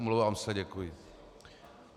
Omlouvám se, děkuji.